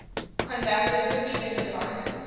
conducting receiving device